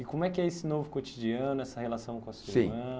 E como é que é esse novo cotidiano, essa relação com a Sim Sua irmã?